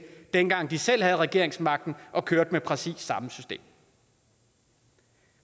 dengang de selv havde regeringsmagten og kørte med præcis samme system